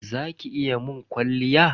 Za ki iya mun kwalliya?